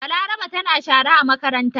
Balaraba tana shara a makaranta.